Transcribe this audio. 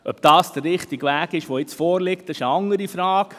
Ob das, was jetzt vorliegt, der richtige Weg ist, ist eine andere Frage.